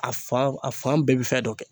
A fan a fan bɛɛ bɛ fɛn dɔ kɛ.